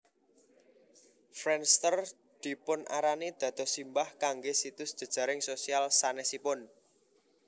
Friendster dipunarani dados simbah kangge situs jejaring sosial sanesipun